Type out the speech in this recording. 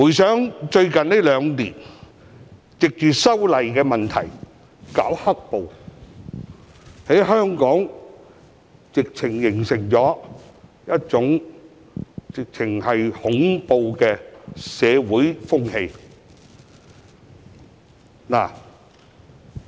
最近兩年，這些人藉修例問題搞"黑暴"，在香港形成了一種恐怖的社會風氣。